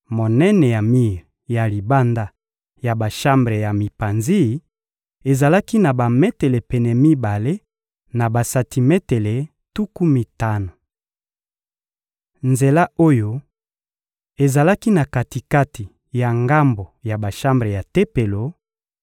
Monene ya mir ya libanda ya bashambre ya mipanzi ezalaki na bametele pene mibale na basantimetele tuku mitano. Nzela oyo ezalaki na kati-kati ya ngambo ya bashambre ya Tempelo